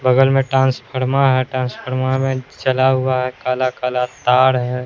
बगल में ट्रांसफर्मा है ट्रांसफर्मा में जला हुआ है काला-काला तार है।